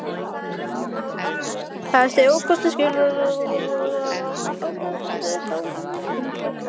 Helsti ókostur skriflegrar atkvæðagreiðslu er sá að hún er tímafrek.